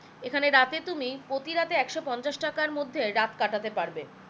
এখানে রাতে তুমি প্রতি রাতে একশো পঞ্চাশ টাকার মধ্যে রাত কাটাতে পারবে